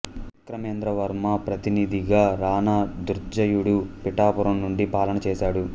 విక్రమేంద్ర వర్మ ప్రతినిధిగా రణ దుర్జయుడు పిఠాపురం నుండి పాలన చేశాడు